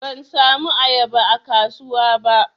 Ban samu ayaba a kasuwa ba.